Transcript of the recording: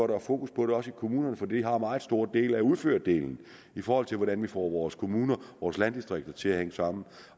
der er fokus på det også i kommunerne for de har en meget stor del af udførelsen i forhold til hvordan vi får vores kommuner og vores landdistrikter til at hænge sammen